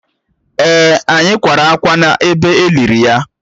Èè, anyị kwara ákwá n’ebe e liri ya